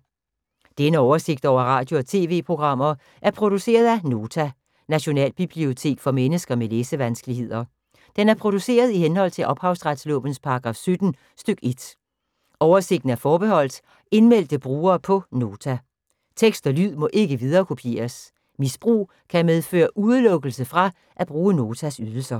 Denne oversigt over radio og TV-programmer er produceret af Nota, Nationalbibliotek for mennesker med læsevanskeligheder. Den er produceret i henhold til ophavsretslovens paragraf 17 stk. 1. Oversigten er forbeholdt indmeldte brugere på Nota. Tekst og lyd må ikke viderekopieres. Misbrug kan medføre udelukkelse fra at bruge Notas ydelser.